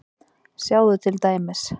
Sjáðu til dæmis